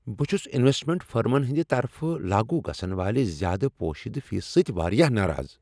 بہٕ چھس انویسٹمنٹ فرمن ہنٛد طرفہٕ لاگو گژھن والہ زیادٕ پوشیدٕ فیسہٕ سۭتۍ واریاہ ناراض ۔